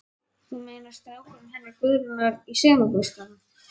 Þú meinar strákurinn hennar Guðrúnar í sumarbústaðnum?